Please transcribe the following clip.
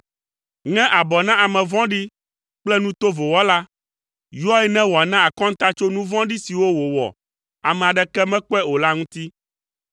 Ŋe abɔ na ame vɔ̃ɖi kple nu tovo wɔla; yɔe ne wòana akɔnta tso nu vɔ̃ɖi siwo wòwɔ ame aɖeke mekpɔe o la ŋuti.